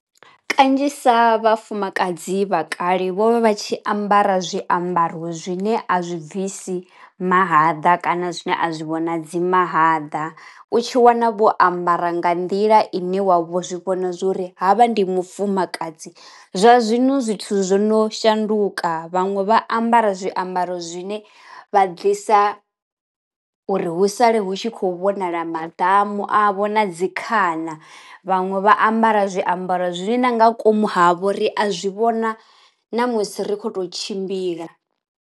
Kanzhisa vhafumakadzi vha kale vho vha vha tshi ambara zwiambaro zwine a zwi bvisi mahaḓa kana zwine a zwi vhonadzi mahaḓa. U tshi wana vho ambara nga nḓila i ne wa vho zwi vhona zwori ha vha ndi mufumakadzi, zwa zwino zwithu zwo no shanduka vhaṅwe vha ambara zwiambaro zwine vha bvisa uri hu sale hu tshi khou vhonala maḓamu avho na dzi khana, vhaṅwe vha ambara zwiambaro zwine na nga komu havho ri a zwi vhona namusi ri khou tou tshimbila.